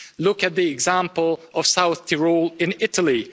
Look at the example of South Tyrol in Italy.